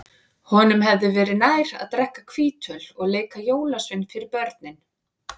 Honum hefði verið nær að drekka hvítöl og leika jólasvein fyrir börnin.